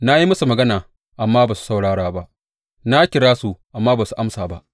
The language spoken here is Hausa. Na yi musu magana, amma ba su saurara ba; na kira su, amma ba su amsa ba.’